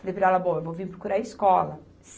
Falei para ela, bom, eu vou vir procurar escola.